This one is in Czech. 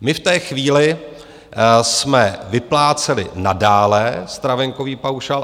My v té chvíli jsme vypláceli nadále stravenkový paušál.